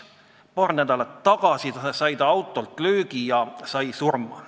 Paar nädalat tagasi sai ta autolt löögi ja sai surma.